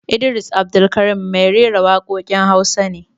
Idris Abdulkarim mai rera waƙoƙin Hausa ne